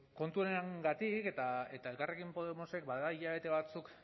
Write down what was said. kontu honengatik eta elkarrekin podemosek bada hilabete batzuk